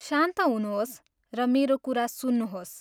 शान्त हुनुहोस् र मेरो कुरा सुन्नुहोस्।